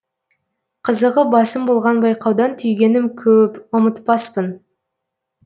қызығы басым болған байқаудан түйгенім көөп ұмытпаспын